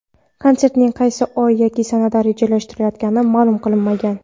Konsertning qaysi oy yoki sanaga rejalashtirilayotgani ma’lum qilinmagan.